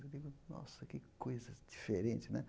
Eu digo, nossa, que coisa diferente, né?